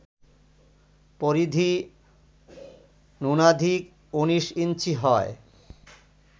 পরিধি ন্যূনাধিক ১৯ ইঞ্চি হয়